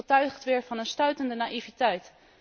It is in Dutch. Het getuigt weer van een stuitende naïviteit.